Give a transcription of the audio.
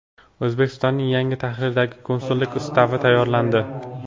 O‘zbekistonning yangi tahrirdagi Konsullik ustavi tayyorlandi.